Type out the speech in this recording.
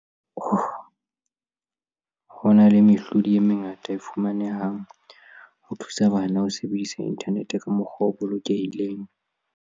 Ho na le mehlodi e mengata e fumanehang ho thusa bana ho sebedisa inthanete ka mokgwa o bolokehileng.